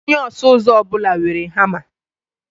Onye ọsụ ụzọ ọ bụla nwere hama.